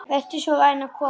Vertu svo vænn að koma.